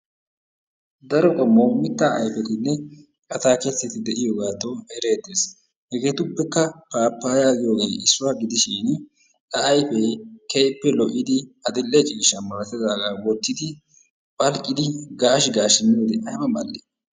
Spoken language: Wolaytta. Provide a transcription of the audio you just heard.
Daro qommo mittaa ayfetinne atakiltetti de'iyogadan eretees. Hegetuppekka, papaya giyoge issuwa giddishin aa ayppe kehippe lo'oiddi adile'e cishshaa malatidagaa wottiddi phalqiddi gash gashi miyode ayba ma'ali?